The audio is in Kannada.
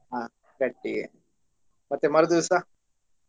ಹ ಗಟ್ಟಿ ಗೆ ಮತ್ತೆ ಮರು ದಿವ್ಸ?